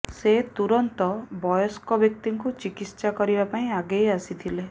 ସେ ତୁରନ୍ତ ବୟସ୍କ ବ୍ୟକ୍ତିଙ୍କୁ ଚିକିତ୍ସା କରିବା ପାଇଁ ଆଗେଇ ଆସିଥିଲେ